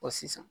sisan